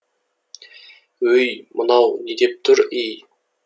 өй мынау не деп тұр ей